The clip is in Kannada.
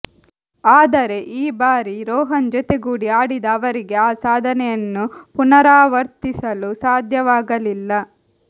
ಆದರೆ ಈ ಬಾರಿ ರೋಹನ್ ಜೊತೆಗೂಡಿ ಆಡಿದ ಅವರಿಗೆ ಆ ಸಾಧನೆಯನ್ನು ಪುನರಾವರ್ತಿಸಲು ಸಾಧ್ಯವಾಗಲಿಲ್ಲ